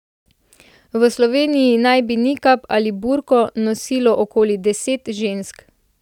V Sloveniji naj bi nikab ali burko nosilo okoli deset žensk.